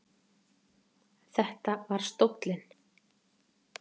Þetta var stóllinn.